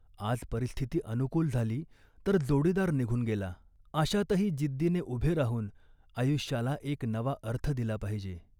आज परिस्थिती अनुकूल झाली, तर जोडीदार निघून गेला. अशातही जिद्दीने उभे राहून आयुष्याला एक नवा अर्थ दिला पाहिजे